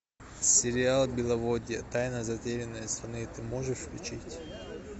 сериал беловодье тайна затерянной страны ты можешь включить